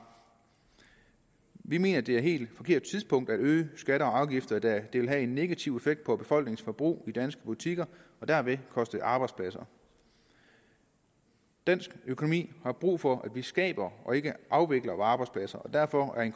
vi mener at det er et helt forkert tidspunkt at øge skatter og afgifter da det vil have en negativ effekt på befolkningens forbrug og i danske butikker og derved koste arbejdspladser dansk økonomi har brug for at vi skaber og ikke afvikler arbejdspladser og derfor er